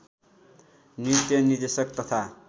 नृत्य निर्देशक तथा